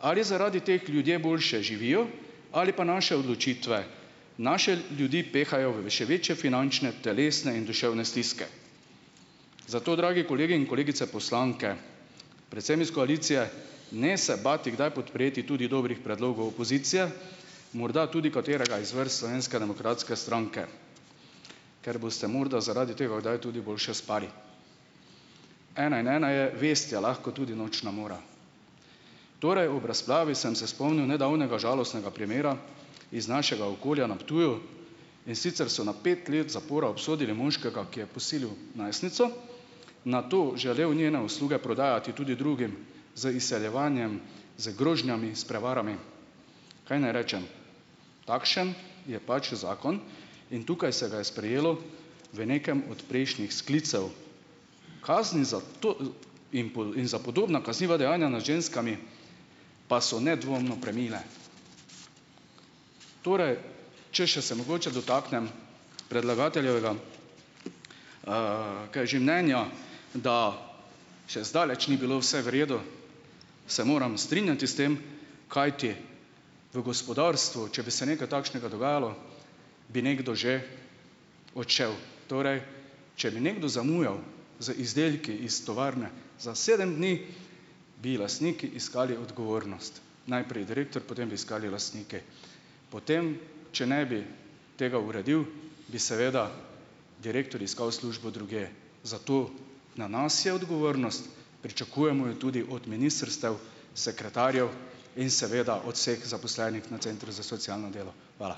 Ali zaradi teh ljudje boljše živijo ali pa naše odločitve naše ljudi pehajo v še večje finančne, telesne in duševne stiske. Zato, dragi kolegi in kolegice poslanke, predvsem iz koalicije, ne se bati kdaj podpreti tudi dobrih predlogov opozicije, morda tudi katerega iz vrst Slovenske demokratske stranke, ker boste morda zaradi tega kdaj tudi boljše spali, ena in ena je vest, je lahko tudi nočna mora. Torej ob razpravi sem se spomnil nedavnega žalostnega primera iz našega okolja na Ptuju, in sicer so na pet let zapora obsodili moškega, ki je posilil najstnico, nato želel njene usluge prodajati tudi drugim, z izseljevanjem, z grožnjami, s prevarami. Kaj naj rečem, takšen je pač zakon, in tukaj se ga je sprejelo v nekem od prejšnjih sklicev. Kazni za to in in za podobna kazniva dejanja nad ženskami pa so nedvomno premile. Torej ... Če se še mogoče dotaknem predlagateljevega mnenja, da še zdaleč ni bilo vse v redu. se morem strinjati s tem, kajti v gospodarstvu, če bi se nekaj takšnega dogajalo, bi nekdo že odšel. Torej, če bi nekdo zamujal z izdelki iz tovarne za sedem dni, bi lastniki iskali odgovornost, najprej direktor, potem bi iskali lastnike. potem, če ne bi tega uredil, bi seveda direktor iskal službo drugje. Zato, na nas je odgovornost, pričakujemo jo tudi od ministrstev, sekretarjev in seveda od vseh zaposlenih na Centru za socialno delo. Hvala.